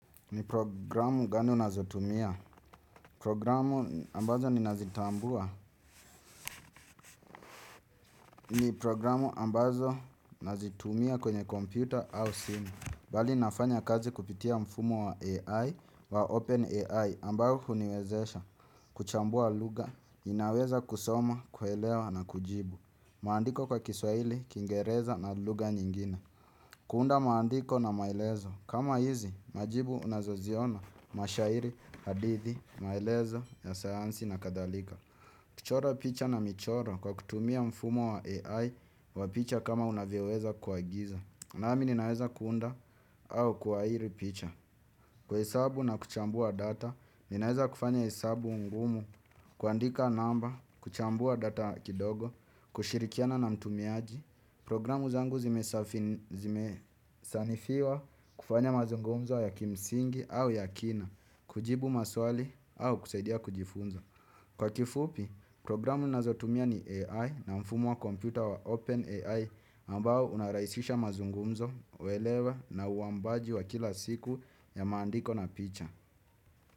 Ni programu gani unaeza tumia. Programu ambazo ninazitambua. Ni programu ambazo nazitumia kwenye computer au SIM Bali nafanya kazi kupitia mfumo wa AI wa OpenAI Ambao huniwezesha kuchambua lugha. Inaweza kusoma, kuelewa na kujibu maandiko kwa kiswaili, kiingereza na lugha nyingine. Kuunda maandiko na maelezo kama hizi, majibu unazoziona mashairi, hadithi, maelezo, ya sayansi na kadhalika. Kuchora picha na michora kwa kutumia mfumo wa AI Wa picha kama unavyoweza kuagiza. Nami ninaeza kuunda au kuahiri picha. Kuhesabu na kuchambua data. Ninaeza kufanya hesabu ngumu. Kuandika namba, kuchambua data kidogo. Kushirikiana na mtumiaji. Programu zangu zimesanifiwa kufanya mazungumzo ya kimsingi au ya kina kujibu maswali au kusaidia kujifunza. Kwa kifupi, programu nazotumia ni AI na mfumo wa kompyuta wa OpenAI ambao unarahisisha mazungumzo, uelewa na uambaji wa kila siku ya maandiko na picha.